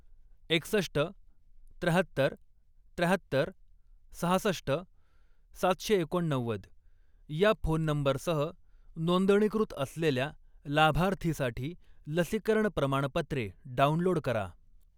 एकसष्ट, त्र्याहत्तर, त्र्याहत्तर, सहासष्ट, सातशे एकोणनव्वद या फोन नंबरसह नोंदणीकृत असलेल्या लाभार्थीसाठी लसीकरण प्रमाणपत्रे डाउनलोड करा.